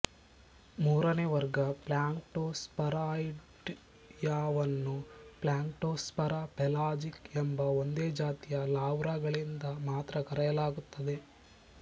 ಮೂರನೇ ವರ್ಗ ಪ್ಲ್ಯಾಂಕ್ಟೋಸ್ಫರಾಯ್ಡಿಯಾವನ್ನು ಪ್ಲ್ಯಾಂಕ್ಟೋಸ್ಫೇರಾ ಪೆಲಾಜಿಕಾ ಎಂಬ ಒಂದೇ ಜಾತಿಯ ಲಾರ್ವಾಗಳಿಂದ ಮಾತ್ರ ಕರೆಯಲಾಗುತ್ತದೆ